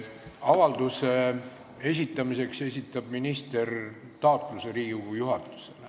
Avalduse esitamiseks esitab minister taotluse Riigikogu juhatusele.